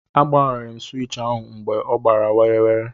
A gbanwere m sụwich ahụ mgbe ọ gbara werewere.